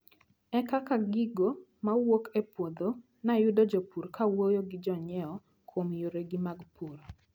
E kar gigo mowuok e puodho, nayudo jopur kawuoyo gi jonyiewo kuom yoregi mag pur.